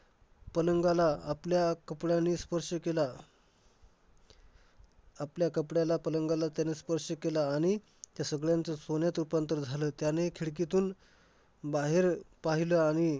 पलंगाला आपल्या कपड्याने स्पर्श केला. आपल्या कपड्याला पलंगाला त्याने स्पर्श केला आणि त्या सगळ्यांचं सोन्यात रूपांतर झालं. त्याने खिडकीतून बाहेर पाहिलं आणि